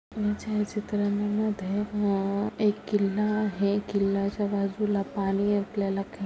या छायाचित्रांमध्ये अम एक किल्ला आहे किल्ल्याच्या बाजूला पाणी आपल्या खे --